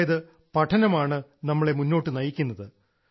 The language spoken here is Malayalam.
അതായത് പഠനമാണ് നമ്മളെ മുന്നോട്ട് നയിക്കുന്നത്